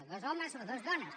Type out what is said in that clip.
bé dos homes o dues dones